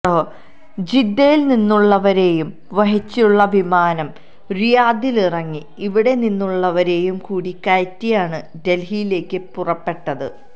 ജിദ്ദയിൽ നിന്നുള്ളവരെയും വഹിച്ചുള്ള വിമാനം റിയാദിലിറങ്ങി ഇവിടെ നിന്നുള്ളവരെയും കൂടി കയറ്റിയാണ് ഡൽഹിയിലേക്ക് പുറപ്പെട്ടത്